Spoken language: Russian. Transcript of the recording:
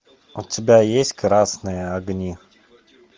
у тебя есть красные огни